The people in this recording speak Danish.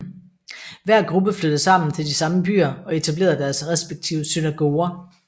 Hver gruppe flyttede sammen til de samme byer og etablerede deres respektive synagoger